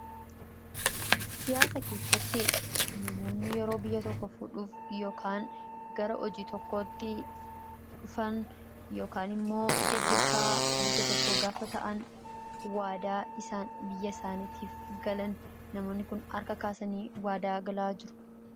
Siyaasa keessatti namoonni yerok biyya tokko fuudhuuf yookaan gara hojii tokkotti dhufan yookaan immoo gaggeessaa biyya tokkoo gaafa ta'an waadaa isaan biyya isaaniitiif galan namoonni kun harka kaasanii waadaa galaa jiru.